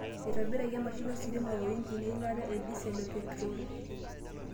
eitobirakaki te mashini ositima o injin eilata e disel o petiroli.